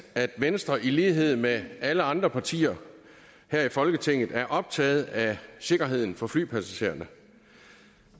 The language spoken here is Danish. at venstre i lighed med alle andre partier her i folketinget er optaget af sikkerheden for flypassagererne